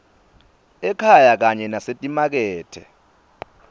ekhaya kanye nasetimakethe